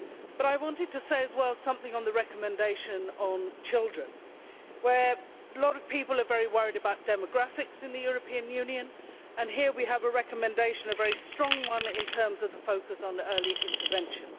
But I also want to say something about the recommendation on children. Many people are very worried about demographics in the European Union, and here we have a recommendation which is a very strong one in terms of the focus on early intervention.